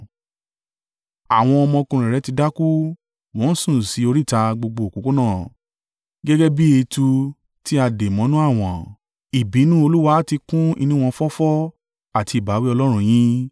Àwọn ọmọkùnrin rẹ ti dákú; wọ́n sùn sí oríta gbogbo òpópónà, gẹ́gẹ́ bí etu tí a dé mọ́nú àwọ̀n. Ìbínú Olúwa ti kún inú wọn fọ́fọ́ àti ìbáwí Ọlọ́run yín.